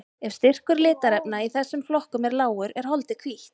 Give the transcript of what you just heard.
Ef styrkur litarefna í þessum flokkum er lágur er holdið hvítt.